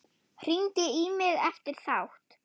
Hringdi í mig eftir þátt.